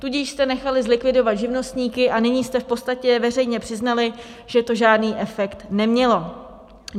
Tudíž jste nechali zlikvidovat živnostníky a nyní jste v podstatě veřejně přiznali, že to žádný efekt nemělo.